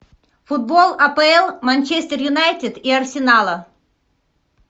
футбол апл манчестер юнайтед и арсенала